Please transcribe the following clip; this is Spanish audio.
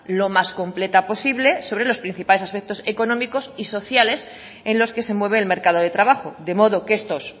lo más completa posible sobre los principales aspectos económicos y sociales en los que se mueve el mercado de trabajo de modo que estos